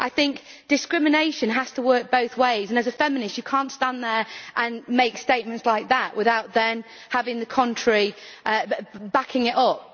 I think discrimination has to work both ways, and as a feminist you cannot stand there and make statements like that without then having the contrary, backing it up.